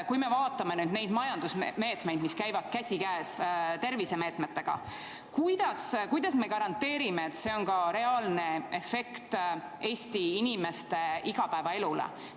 Kui me vaatame nüüd neid majandusmeetmeid, mis käivad käsikäes tervisemeetmetega, siis kuidas me garanteerime, et see on ka reaalne efekt Eesti inimeste igapäevaelule?